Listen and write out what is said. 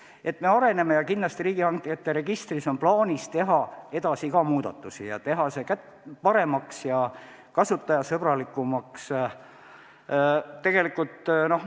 Aga me areneme ja kindlasti on riigihangete registris plaanis teha edaspidi ka muudatusi, teha see paremaks ja kasutajasõbralikumaks.